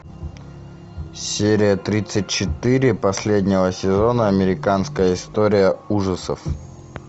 серия тридцать четыре последнего сезона американская история ужасов